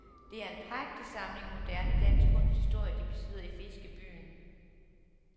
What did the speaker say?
Det er en prægtig samling moderne dansk kunsthistorie de besidder i fiskebyen.